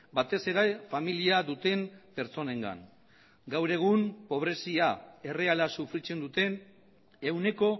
batez ere familia duten pertsonengan gaur egun pobrezia erreala sufritzen duten ehuneko